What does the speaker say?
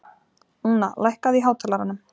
Úna, lækkaðu í hátalaranum.